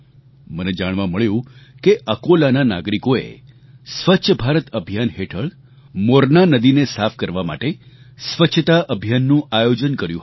મને જાણવા મળ્યું કે અકોલાના નાગરિકોએ સ્વચ્છ ભારત અભિયાન હેઠળ મોરના નદીને સાફ કરવા માટે સ્વચ્છતા અભિયાનનું આયોજન કર્યું હતું